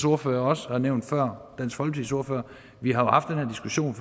ordfører også har nævnt har vi haft den her diskussion